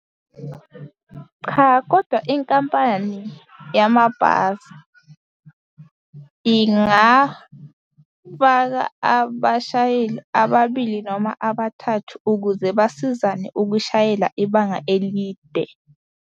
Cha, kodwa inkampani yamabhasi ingafaka abashayeli ababili noma abathathu ukuze basizane ukushayela ibanga elide.